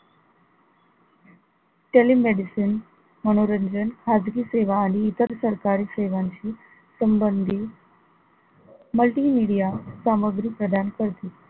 telemedicine मनोरंजन खाजगी सेवा आणि इतर सरकारी सेवांशी संबंधित multimedia सामग्री प्रदान करते.